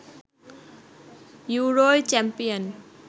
ইউরোয় champion